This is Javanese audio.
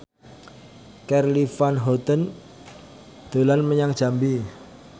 Charly Van Houten dolan menyang Jambi